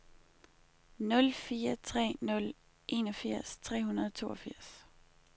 nul fire tre nul enogfirs tre hundrede og toogfirs